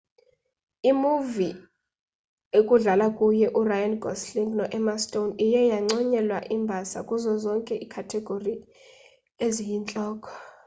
imuvi ekudlala kuyo uryan gosling no-emma stone iye yanconyelwa imbasa kuzo zonke iikhathegori eziyintloko